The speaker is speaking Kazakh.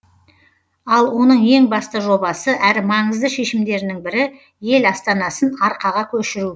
ал оның ең басты жобасы әрі маңызды шешімдерінің бірі ел астанасын арқаға көшіру